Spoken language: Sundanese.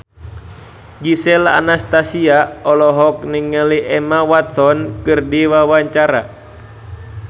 Gisel Anastasia olohok ningali Emma Watson keur diwawancara